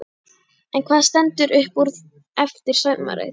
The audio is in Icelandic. En hvað stendur upp úr eftir sumarið?